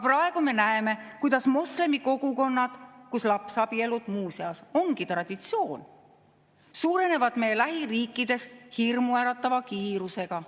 Praegu me näeme, kuidas moslemikogukonnad, kus lapsabielud, muuseas, ongi traditsioon, suurenevad meie lähiriikides hirmuäratava kiirusega.